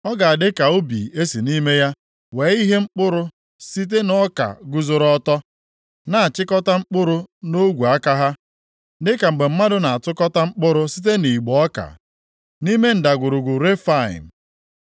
Ọ ga-adị ka ubi e si nʼime ya wee ihe mkpụrụ site nʼọka guzoro ọtọ, na-achịkọta mkpụrụ nʼogwe aka ha dịka mgbe mmadụ na-atụtụkọta mkpụrụ site nʼigbo ọka nʼime Ndagwurugwu Refaim.